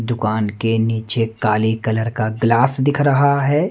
दुकान के नीचे काली कलर का ग्लास दिख रहा है।